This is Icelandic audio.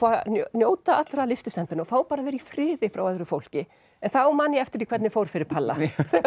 njóta allra lystisemdanna og fá að vera í friði frá öðru fólki en þá man ég eftir hvernig fór fyrir palla